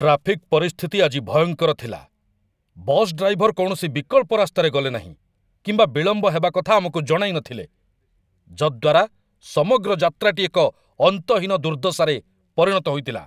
Traffic ପରିସ୍ଥିତି ଆଜି ଭୟଙ୍କର ଥିଲା। ବସ୍ ଡ୍ରାଇଭର କୌଣସି ବିକଳ୍ପ ରାସ୍ତାରେ ଗଲେନାହିଁ କିମ୍ବା ବିଳମ୍ବ ହେବା କଥା ଆମକୁ ଜଣାଇନଥିଲେ, ଯଦ୍ୱାରା ସମଗ୍ର ଯାତ୍ରାଟି ଏକ ଅନ୍ତହୀନ ଦୁର୍ଦ୍ଦଶାରେ ପରିଣତ ହୋଇଥିଲା!